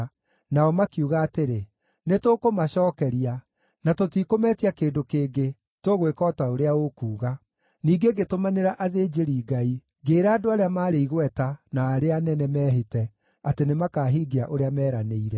Nao makiuga atĩrĩ, “Nĩtũkũmacookeria. Na tũtikũmetia kĩndũ kĩngĩ. Tũgwĩka o ta ũrĩa ũkuuga.” Ningĩ ngĩtũmanĩra athĩnjĩri-Ngai ngĩĩra andũ arĩa maarĩ igweta na arĩa anene mehĩte atĩ nĩmakahingia ũrĩa meranĩire.